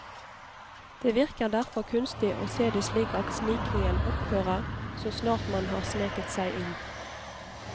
Det virker derfor kunstig å se det slik at snikingen opphører så snart man har sneket seg inn.